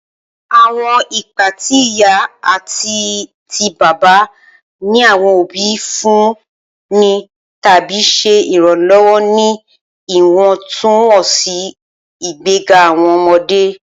Awọn ipa ti iya ati ti baba ni awọn obi n funni tabi ṣe iranlọwọ ni iwọntunwọnsi igbega awọn ọmọde.